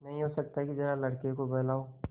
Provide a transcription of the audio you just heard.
नहीं हो सकता कि जरा लड़के को बहलाओ